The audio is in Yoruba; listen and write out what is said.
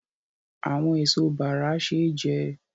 Àwọn èso bàrà ṣé jẹ